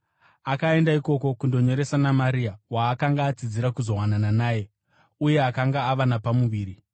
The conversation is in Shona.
Akaenda ikoko kundonyoresa naMaria, waakanga atsidzira kuzowanana naye uye akanga ava napamuviri.